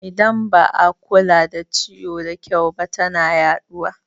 Idan ba a kula da ciwo da kyau ba tana yaɗuwa